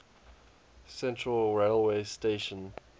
central railway station